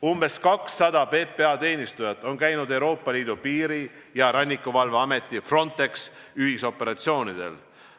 Umbes 200 PPA teenistujat on käinud Euroopa Liidu piiri- ja rannikuvalve ameti Frontex ühisoperatsioonidel.